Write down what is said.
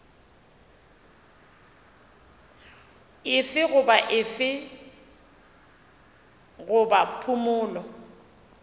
efe goba efe goba phumolo